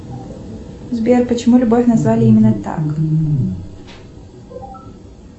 сбер почему любовь назвали именно так